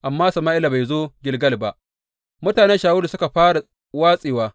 Amma Sama’ila bai zo Gilgal ba, mutanen Shawulu suka fara watsewa.